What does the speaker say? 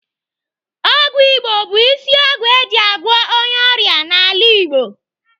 Ọgwụ Igbo bụ isi ọgwụ eji agwọ onye ọrịa n'ala Igbo.